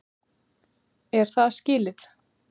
Er það skilið?!